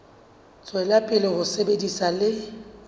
tswela pele ho sebetsa le